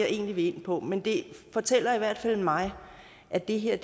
egentlig vil ind på men det fortæller i hvert fald mig at det her